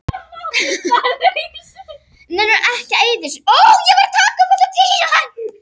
Nú er ég kominn til Spánar!